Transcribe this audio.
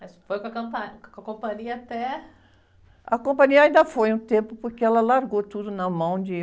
Mas foi com a, com a companhia até... companhia ainda foi um tempo, porque ela largou tudo na mão de...